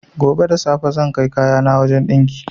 Gobe da safe zan kai kayana wajan ɗinki